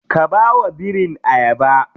Ka bawa birin ayaba.